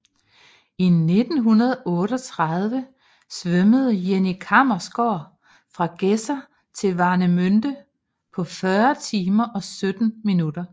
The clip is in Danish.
I 1938 svømmede Jenny Kammersgaard fra Gedser til Warnemünde på 40 timer og 17 minutter